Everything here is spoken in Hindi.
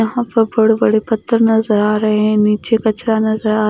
यहां पर बड़े बड़े पत्थर नजर आ रहे हैं नीचे कचरा नजर आ--